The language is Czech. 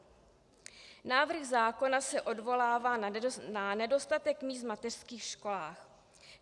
Návrh zákona se odvolává na nedostatek míst v mateřských školách.